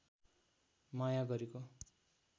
माया गरेको